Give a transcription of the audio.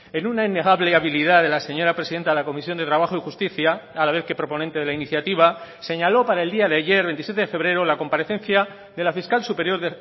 en una innegable habilidad de la señora presidenta de la comisión de trabajo y justicia a la vez que proponente de la iniciativa señaló para el día de ayer veintisiete de febrero la comparecencia de la fiscal superior